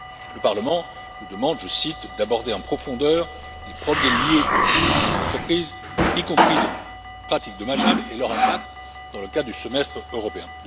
Le Parlement nous demande, je cite, d'aborder en profondeur les problèmes liés à la fiscalité des entreprises, y compris les pratiques dommageables et leur impact dans le cas du Semestre européen.